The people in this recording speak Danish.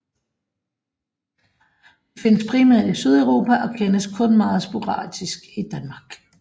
De findes primært i Sydeuropa og kendes kun meget sporadisk i Danmark